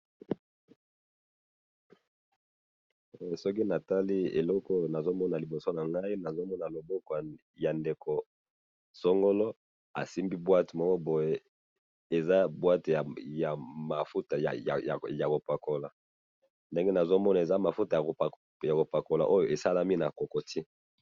Soki na Tali eloko Oyo nazomona liboso na ngai, nazomono loboko ya ndeko songono asimbi boîte Moko boye. Eza boîte ya mafuta ya kopakola. Ndenge nazomona eza boîte ya mafuta ya kopakola, Oyo e salami na cocotier.